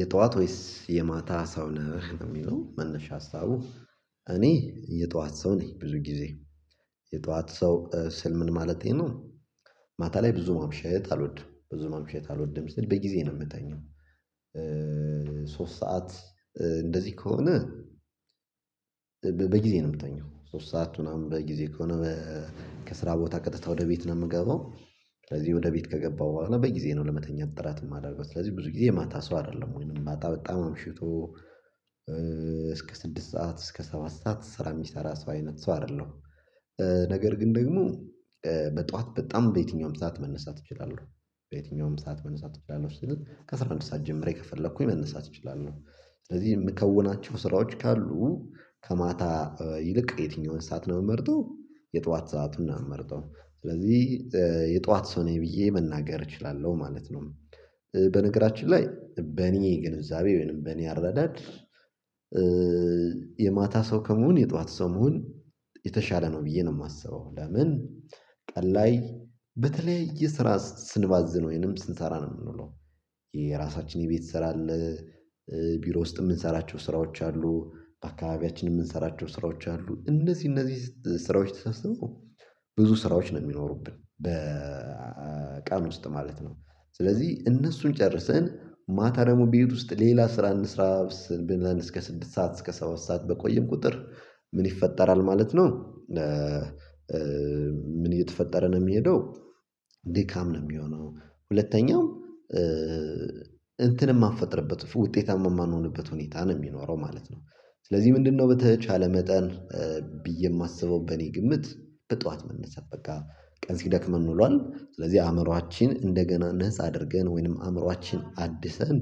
የጧት ወይስ የማታ ሰው ነህ የሚለው መነሻ ሀሳቡ? እኔ የጧት ሰው ነኝ ብዙ ጊዜ የጧት ሰው ስል ምን ማለቴ ነው። ማታ ላይ ብዙ ማምሸት አልወድም ብዙ ማምሸት አልወድም ስል በጊዜ ነው የምተኛው። ሶስት ሰዓት እንደዚህ ከሆነ። በጊዜ ነው የምትተኛው ሶስት ሰዓት ምናምን በጊዜ ከሆነ ከስራ ቦታ ቀጥታ ወደ ቤት ነው የምገባው። ስለዚህ ወደ ቤት ከገባው በኋላ በየጊዜው ነው ለመተኛት ጥራት የማደርገው። ስለዚህ ብዙ ጊዜ የማታ ሰው አይደለም ወይንም ማታ በጣም አምሽቶ እስከ ስድስት ሰዓት እስከ ሰባት ሰዓት ስራ የሚሰራ ሰው አይነት ሰው አይደለም። ነገር ግን ደግሞ በጧት በጣም በየትኛውም ሰዓት መነሳት እችላለሁ። በየትኛውም ሰዓት መነሳት እችላለሁ። ከስራ አንድ ሰዓት ጀምሬ ከፈለኩኝ መነሳት እችላለሁ። ስለዚህ የምከውናቸው ስራዎች ካሉ ከማታ ይልቅ የትኛውን እሳት ነው የምመርጠው። የጧት ሰዓት ነው የምመርጠው ስለዚህ የጧት ሰው ነኝ ብዬ መናገር እችላለሁ ማለት ነው። በነገራችን ላይ በኔ ግንዛቤ ወይንም በኔ አረዳድ። የማታ ሰው ከመሆን የጧት ሰው መሆን የተሻለ ነው ብዬ ነው የማስበው። ለምን ቀን ላይ በተለያየ የስራ ስንባዝን ወይንም ስንሰራ ነው የምንውለው። የራሳችን የቤት ስራ አለ። ቢሮ ውስጥ የምንሰራቸው ስራዎች አሉ። አካባቢያችንን የምንሰራቸው ስራዎች አሉ እነዚህ እነዚህ ስራዎች ተሰብስበው ብዙ ስራዎች ነው የሚኖሩብን በቃል ውስጥ ማለት ነው። ስለዚህ እነሱን ጨርሰን ማታ ደግሞ ቤት ውስጥ ሌላ ስራ እንስራ ስንል አንድ እስከ ስድስት ሰዓት እስከ ሰባት ሰዓት በቆየን ቁጥር። ምን ይፈጠራል ማለት ነው? ምን እየተፈጠረ ነው የሚሄደው? ድካም ነው የሚሆነው ሁለተኛው እንትን የማንፈጥርበት ውጤታማ የማንሆንበት ሁኔታ ነው የሚኖረው ማለት ነው። ስለዚህ ምንድነው በተቻለ መጠን? ብዬ የማስበው በእኔ ግምት። በጧት መነሳት በቃ ቀን ሲደክመን ውሏል ስለዚህ አእምሮአችን እንደገና ነፃ አድርገን ወይንም አእምሮአችን አድሰን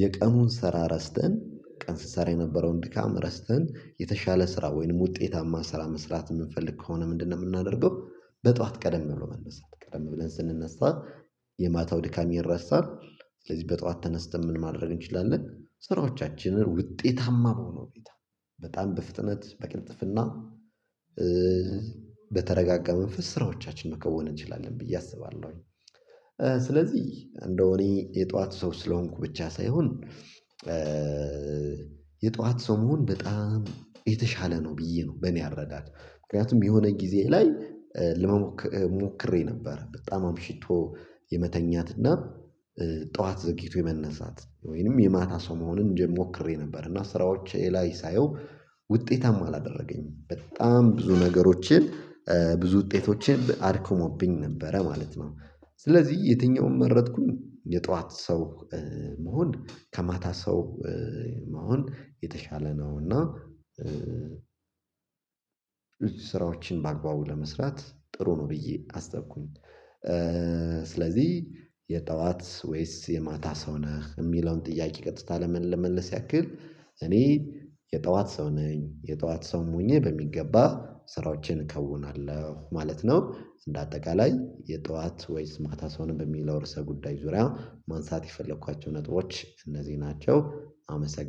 የቀኑን ስራ ረስተን ቀን ስሰራ የነበረውን ድካም ረስተን የተሻለ ስራ ወይንም ውጤታማ ስራ መስራት የምንፈልግ ከሆነ ምንድነው የምናደርገው? በጧት ቀደም ብሎ መነሳት ቀደም ብለን ስንነሳ። የማታው ድካም ይረሳል። ስለዚህ በጧት ተነስተን ምን ማድረግ እንችላለን ስራዎቻችንን ውጤታማ በሆነው ቤት። በጣም በፍጥነት በቅንጥፍና በተረጋጋ መንፈስ ስራዎቻችን መከወን እንችላለን ብዬ አስባለሁኝ። ስለዚህ እንደው እኔ የጧት ሰው ስለሆንኩ ብቻ ሳይሆን። የጧት ሰው መሆን በጣም የተሻለ ነው ብዬ ነው በኔ አረዳድ። ምክንያቱም የሆነ ጊዜ ላይ ለመሞከር ሞክሬ ነበር በጣም አምሽቶ የመተኛትና ጠዋት ዘግይቶ የመነሳት ወይንም የማታ ሰው መሆንን እንደምሞክሬ ነበር እና ስራዎች ላይ ሳየው ውጤታማ አላደረገኝም በጣም ብዙ ነገሮችን ብዙ ውጤቶችን አድክሞብኝ ነበረ ማለት ነው። ስለዚህ የትኛውም መረጥኩኝ የጠዋት ሰው መሆን ከማታ ሰው መሆን የተሻለ ነው። እና ስራዎችን በአግባቡ ለመስራት ጥሩ ነው ብዬ አሰብኩኝ። ስለዚህ የጠዋት ወይስ የማታ ሰው ነህ የሚለውን ጥያቄ ቀጥታ ለመመለስ ያክል። እኔ የጠዋት ሰው ነኝ የጠዋት ሰው ሆኜ በሚገባ ስራዎችን ከውናለሁ ማለት ነው። እንደ አጠቃላይ የጠዋት ወይስ ማታ ሰውን በሚለው ርዕሰ ጉዳይ ዙሪያ ማንሳት የፈለኳቸው ነጥቦች እነዚህ ናቸው አመሰግናለሁ